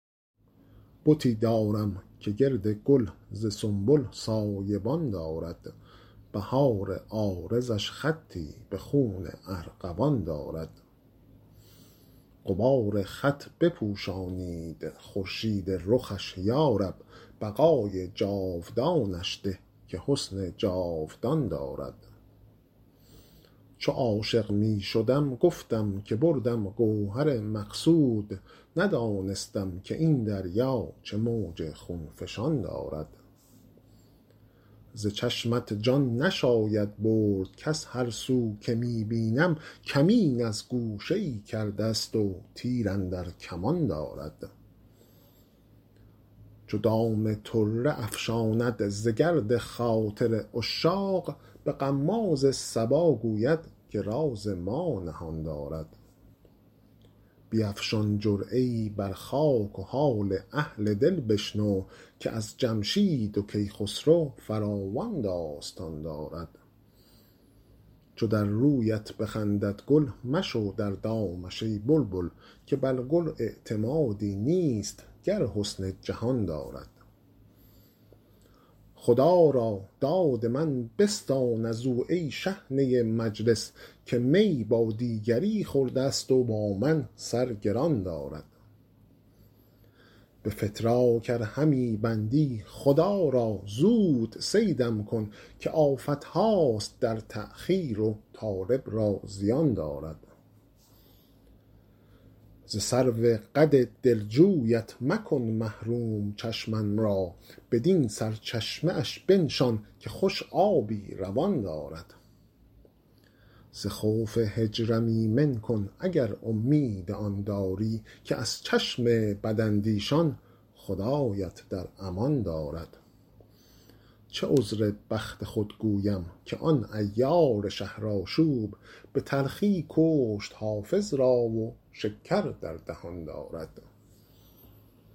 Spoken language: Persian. بتی دارم که گرد گل ز سنبل سایه بان دارد بهار عارضش خطی به خون ارغوان دارد غبار خط بپوشانید خورشید رخش یا رب بقای جاودانش ده که حسن جاودان دارد چو عاشق می شدم گفتم که بردم گوهر مقصود ندانستم که این دریا چه موج خون فشان دارد ز چشمت جان نشاید برد کز هر سو که می بینم کمین از گوشه ای کرده ست و تیر اندر کمان دارد چو دام طره افشاند ز گرد خاطر عشاق به غماز صبا گوید که راز ما نهان دارد بیفشان جرعه ای بر خاک و حال اهل دل بشنو که از جمشید و کیخسرو فراوان داستان دارد چو در رویت بخندد گل مشو در دامش ای بلبل که بر گل اعتمادی نیست گر حسن جهان دارد خدا را داد من بستان از او ای شحنه مجلس که می با دیگری خورده ست و با من سر گران دارد به فتراک ار همی بندی خدا را زود صیدم کن که آفت هاست در تأخیر و طالب را زیان دارد ز سرو قد دلجویت مکن محروم چشمم را بدین سرچشمه اش بنشان که خوش آبی روان دارد ز خوف هجرم ایمن کن اگر امید آن داری که از چشم بداندیشان خدایت در امان دارد چه عذر بخت خود گویم که آن عیار شهرآشوب به تلخی کشت حافظ را و شکر در دهان دارد